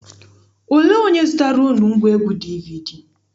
Olee onye zụtaara unu ngwaegwu DVD?